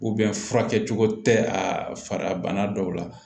furakɛcogo tɛ a bana dɔw la